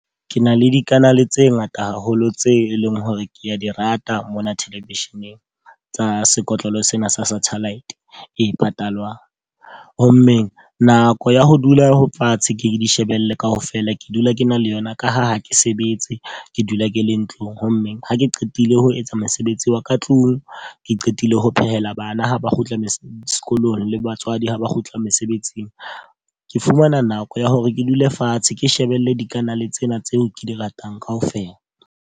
Ke na le dikanale tse ngata haholo tse e leng hore ke a di rata mona television-eng, tsa sekotlolo sena sa satellite e patalwang. Ho mmeng nako ya ho dula ho fatshe ke di shebelle ka ofela ke dula ke na le yona ka ha ha ke sebetse ke dula ke le ntlong. Ho mme ha ke qetile ho etsa mosebetsi wa ka tlung, ke qetile ho phehela bana ha ba kgutla sekolong le batswadi ha ba kgutla mesebetsing. Ke fumana nako ya hore ke dule fatshe ke shebella dikanale tsena tseo ke di ratang ka ofela.